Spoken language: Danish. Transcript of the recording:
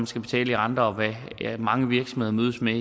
skal betale i renter og hvad mange virksomheder mødes med